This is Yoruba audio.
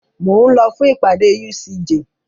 Mo ń lọ fún ìpàdé UCJ.